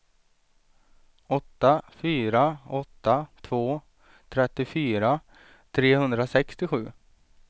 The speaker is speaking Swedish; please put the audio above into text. åtta fyra åtta två trettiofyra trehundrasextiosju